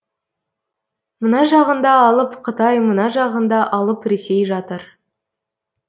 мына жағында алып қытай мына жағында алып ресей жатыр